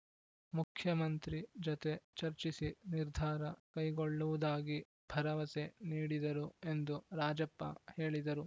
ಮುಖ್ಯಮಂತ್ರಿ ಜತೆ ಚರ್ಚಿಸಿ ನಿರ್ಧಾರ ಕೈಗೊಳ್ಳುವುದಾಗಿ ಭರವಸೆ ನೀಡಿದರು ಎಂದು ರಾಜಪ್ಪ ಹೇಳಿದರು